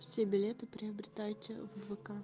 все билеты приобретайте в вк